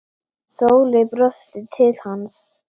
Sóley brosti til hans.